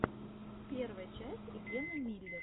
первая часть гена миллер